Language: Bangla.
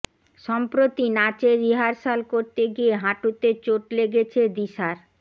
সম্প্রতি নাচের রিহার্সাল করতে গিয়ে হাঁটুতে চোট লেগেছে দিশার